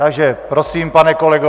Takže prosím, pane kolego.